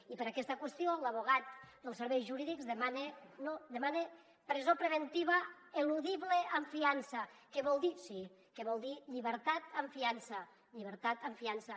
i per aquesta qüestió l’advocat dels serveis jurídics demana presó preventiva eludible amb fiança que vol dir llibertat amb fiança llibertat amb fiança